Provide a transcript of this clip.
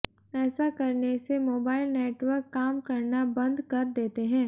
ऐसा करने से मोबाइल नेटवर्क काम करना बंद कर देते हैं